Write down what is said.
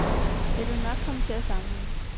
Jeg ville jo nok komme til at savne hende.